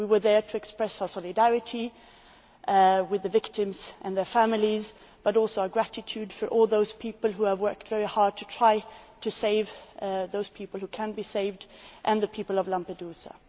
We were there to express our solidarity with the victims and their families, but also our gratitude to all those people who have worked very hard to try to save those people who can be saved, and to the people of Lampedusa.